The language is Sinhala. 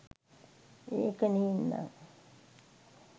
ඒක නේන්නං